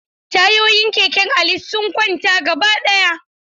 Tayoyin keken Ali sun kwanta gabaɗaya.